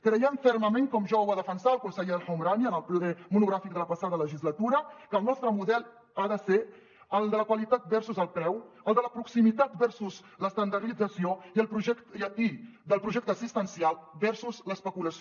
creiem fermament com ja ho va defensar el conseller el homrani en el ple monogràfic de la passada legislatura que el nostre model ha de ser el de la qualitat versus el preu el de la proximitat versus l’estandardització i del projecte assistencial versus l’especulació